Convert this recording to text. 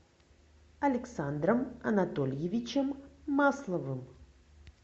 александром анатольевичем масловым